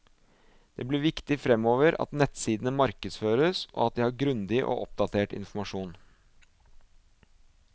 Det blir viktig fremover at nettsidene markedføres, og at de har grundig og oppdatert informasjon.